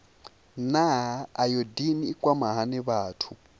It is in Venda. naa ayodini i kwama hani vhathu